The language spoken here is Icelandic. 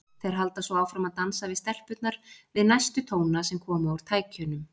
Þeir halda svo áfram að dansa við stelpurnar við næstu tóna sem koma úr tækjunum.